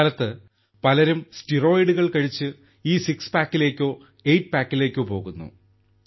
ഇക്കാലത്ത് പലരും സ്റ്റിറോയിഡുകൾ കഴിച്ച് ഈ സിക്സ് പാക്കിലേക്കോ എയ്റ്റ് പാക്കിലേക്കോ പോകുന്നു